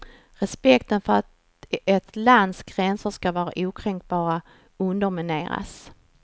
Respekten för att ett lands gränser ska vara okränkbara undermineras.